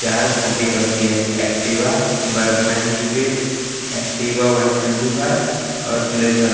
चार स्पुटी रखी है Activa Burgman Street Activa one twenty five और प्लेजर ।